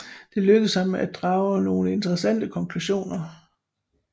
Det lykkes ham at drage nogle interessante konklusioner